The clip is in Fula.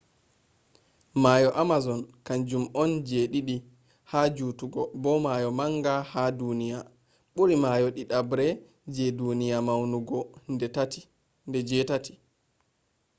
mayo amazon kanjum on ji ɗiɗi ha juttugo bo mayo manga ha duniya. ɓuri mayo ɗiɗabre je duniya maunugo nde 8